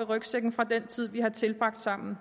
i rygsækken fra den tid vi har tilbragt sammen